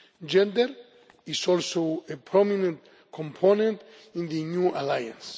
Gender is also a prominent component in the New Alliance.